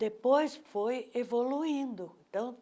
Depois foi evoluindo.